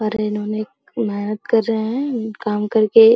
और इन्होंने मेहनत कर रहें हैं काम करके --